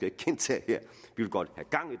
ikke gentage er at vi godt